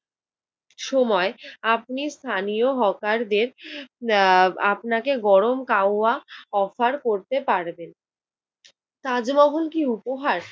সময় আপনি স্থানীয় হকারদের আহ আপনাকে গরম কাওয়া অফার করতে পারবে। তাজমহল কি উপহার?